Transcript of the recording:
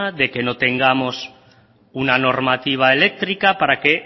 de que no tengamos una normativa eléctrica para que